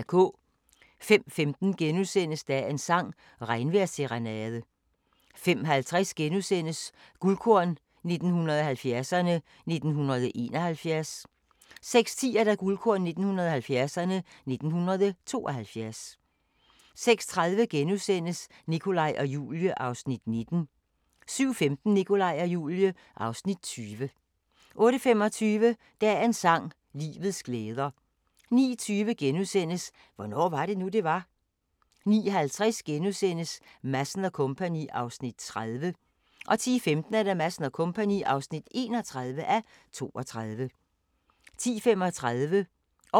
05:15: Dagens sang: Regnvejrsserenade * 05:50: Guldkorn 1970'erne: 1971 * 06:10: Guldkorn 1970'erne: 1972 06:30: Nikolaj og Julie (Afs. 19)* 07:15: Nikolaj og Julie (Afs. 20) 08:25: Dagens sang: Livets glæder 09:20: Hvornår var det nu, det var? * 09:50: Madsen & Co. (30:32)* 10:15: Madsen & Co. (31:32) 10:35: Århundredets vidner